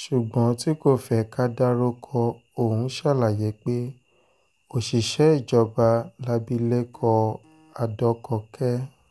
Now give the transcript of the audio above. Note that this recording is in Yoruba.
ṣùgbọ́n tí kò fẹ́ ká dárúkọ òun ṣàlàyé pé òṣìṣẹ́ ìjọba làbìlẹ̀kọ adọ́gọ́kẹ́